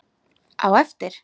Á eftir?